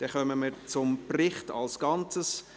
Wir kommen zum Bericht als Ganzes.